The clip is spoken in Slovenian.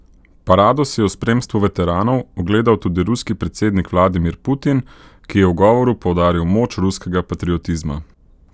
Parado si je v spremstvu veteranov ogledal tudi ruski predsednik Vladimir Putin, ki je v govoru poudaril moč ruskega patriotizma.